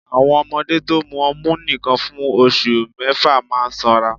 Àwọn ọmọdé to mu ọmú nìkan fún oṣù mẹ́fà máa sanra